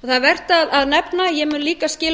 það er vert að nefna ég mun líka skila